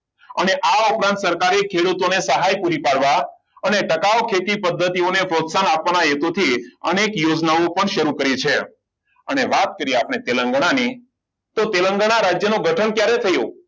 અને આ ઉપરાંત સરકારી ખેડૂતોને સહાય પૂરી પાડવા અને ટકાઉ હેતુ ખેતી પદ્ધતિને પ્રોત્સાહન આપણા હેતુથી અનેક યોજનાઓ પણ શરૂ કરી છે અને વાત કરીએ આપણે તેલંગાના ની તો તેલંગાના રાજ્યનું ગઠન ક્યારે થયું